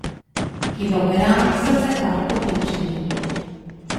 Kilogrami so se kar kopičili.